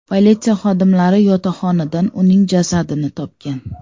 Politsiya xodimlari yotoqxonadan uning jasadini topgan.